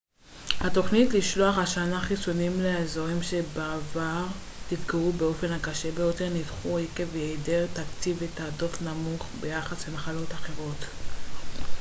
התוכניות לשלוח השנה חיסונים לאזורים שבעבר נפגעו באופן הקשה ביותר נדחו עקב היעדר תקציב ותעדוף נמוך ביחס למחלות אחרות